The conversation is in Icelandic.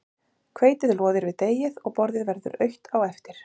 hveitið loðir við deigið og borðið verður autt á eftir